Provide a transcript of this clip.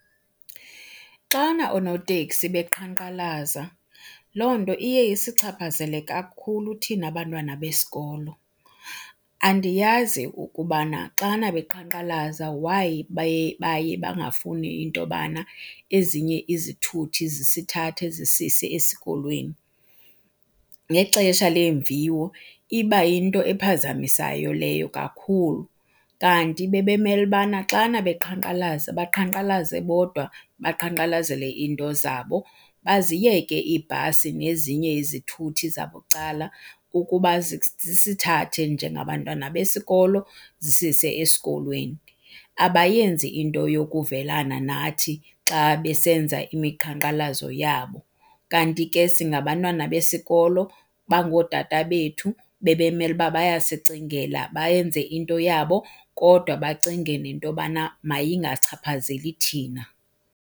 Xana oonoteksi beqhankqalaza loo nto iye isichaphazele kakhulu thina bantwana besikolo. Andiyazi ukubana xana beqhankqalaza why baye, baye bangafuni into yobana ezinye izithuthi zisithathe zisise esikolweni. Ngexesha leemviwo iba yinto ephazamisayo leyo kakhulu kanti bebemele ubana xana beqhankqalaza baqhankqalaze bodwa baqhankqalazele iinto zabo, baziyeke iibhasi nezinye izithuthi zabucala ukuba zisithathe njengabantwana besikolo zisise esikolweni. Abayenzi into yokuvelana nathi xa besenza imiqhankqalazo yabo kanti ke singabantwana besikolo bangootata bethu bebemele uba bayasicingela, bayenze into yabo kodwa bacinge nento yobana mayingachaphazeli thina.